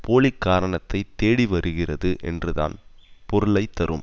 போலி காரணத்தை தேடிவருகிறது என்றுதான் பொருளை தரும்